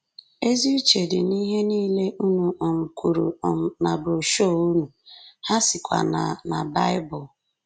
Ezi uche dị n’ihe nile unu um kwuru um na broshuọ unu, ha sikwa na na Bible.